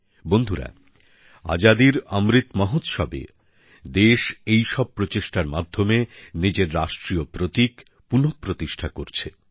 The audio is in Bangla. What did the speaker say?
বন্ধুরা আজাদির অমৃত মহোৎসবে দেশ এইসব প্রচেষ্টার মাধ্যমে নিজের রাষ্ট্রীয় প্রতীক পুনঃপ্রতিষ্ঠা করছে